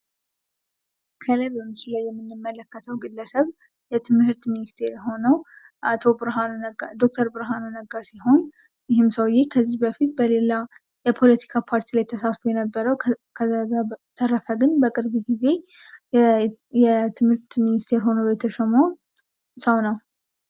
ከላይ በምስሉ ላይ የምንመለከተው ግለሰብ የትምህርት ሚኒስቴር ሆኖ ዶክተር ብርሃኑ ነጋ ሲሆን ይህም ሰውየ ከዚህ በፊት በሌላ የፖለቲካ ፓርቲ ተሳትፎ የነበረው ከዛ በተረፈ ግን በቅርብ ጊዜ የትምህርት ሚኒስቴር ሆኖ የተሾመው ሰው ነው።